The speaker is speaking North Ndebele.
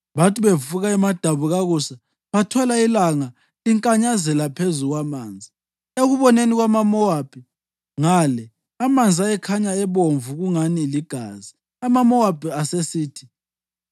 Bathi bevuka emadabukakusa bathola ilanga linkanyazela phezu kwamanzi. Ekuboneni kwamaMowabi ngale, amanzi ayekhanya ebomvu kungani ligazi. AmaMowabi asesithi,